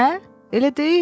Hə? Elə deyil?